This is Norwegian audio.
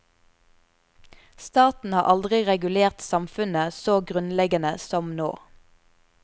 Staten har aldri regulert samfunnet så grunnleggende som nå.